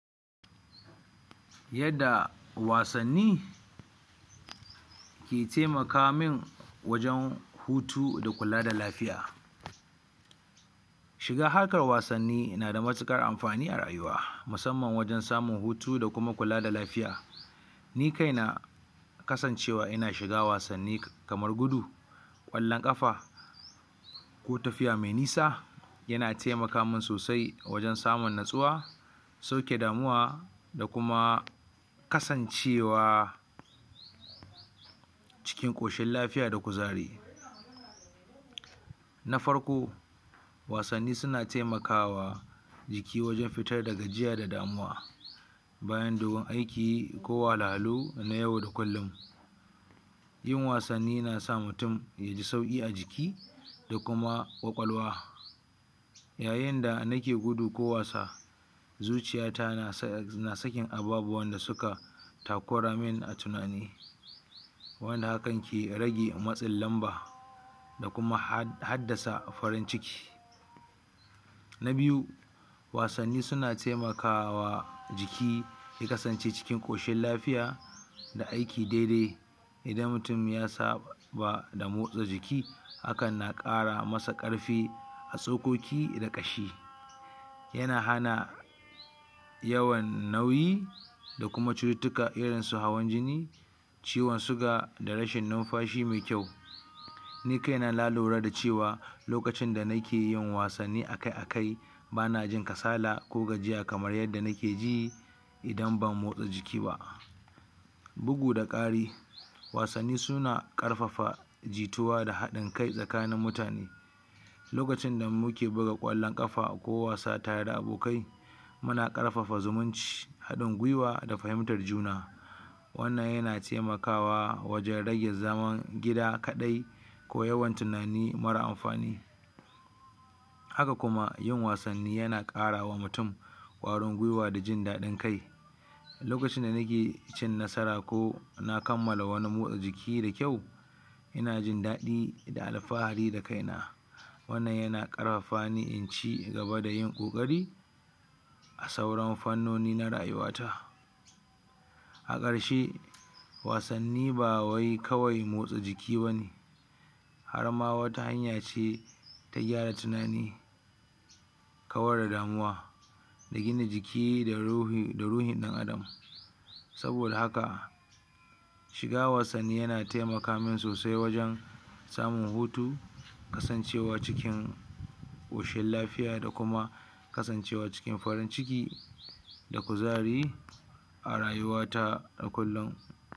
yadda wasanni ke taimaka min wajan hutu da kula da lafiya shiga harkar wasanni nada matuƙar amfani a rayuwa musamman wajen samun hutu da kuma kula da lafiya ni kaina kasancewa ina shiga wasanni kamar gudu ƙwallon ƙafa, ko tafiya mai nisa yana taimaka min sosai wajen samun natsuwa sauke damuwa da kuma kasancewa cikin ƙoshin lafiya da kuzari na farko wasanni suna taimakawa jiki wajen fitar da gajiya da damuwa bayan dogon aiki ko wahalhalu na au da kullun yin wasanni nasa mutum yaji sauƙi a jiki da kuma ƙwaƙwalwa yayin da nake gudu ko wasa zuciyata na sakin ababuwan da suka takuramin a tunani wanda hakan ke rage matsin lamba da kuma haddasa farin ciki na biyu wasanni suna taimakawa jiki ya kasance cikin ƙoshin lafiya da aiki daidai idan mutum ya saba da motsa jiki a hakan na ƙara masa ƙarfi a tsokoki da ƙashi yana hana yawan nauyi da kuma cututtuka iri su hawan jini ciwon suga da rashin numfashi mai kyau. Ni kaina na lura lokacin da cewa nakeyin wasanni akai akai banajin kasala ko gajiya kamar yadda nake ji idan ban motsa jiki ba. bugu da ƙari wasanni suna ƙarfafa jituwa da haɗin kai tsakanin mutan okacin da muke buga ƙwallon ƙafa kowasa tare abokai muna ƙarfafa zumun ci haɗin gwiwa da fahimtar juna wannan yana taimakawa wajen rage rage zaman gida kaɗai ko yawan tunani mara amfani. haka kuma yawan wasanni yana ƙarawa mutum ƙwarin gwiwa da jin daɗin kai, lokacin da nake cin nasara ko na kammala wani motsa jiki da kyau ina jin daɗi da alfahari da kaina wannan yana ƙarfafa ni in ci gaba da ƙoƙari a sauran fannoni na rayuwa ta. a ƙarshe wasanni bawai kawai motsa jiki bane harma wata hanya ce ta gyara tunani kawar da damuwa da gina jiki da ruhin ɗan adam sabo da haka shiga wasanni yana taimaka min sosai wajen samun hutu da kasancewa cikin ƙoshin lafiya da kuma kasancewa cikin farin ciki da kuzari a ruyuwata a kullun.